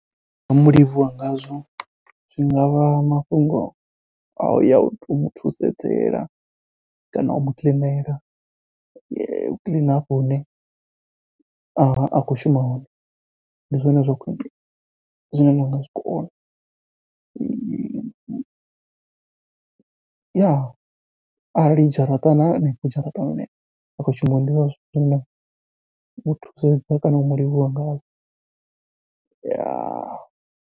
Ndi nga mulivhuwa ngazwo zwi ngavha mafhungo a uya u tou muthusedzela kana u mukiḽinela, u kiḽina hafho hune a khou shuma hone. Ndi zwone zwa khwiṋe zwine nda nga zwikona, arali dzharaṱa na hanefho dzharaṱani nau muthusedza kana u mulivhuwa ngazwo .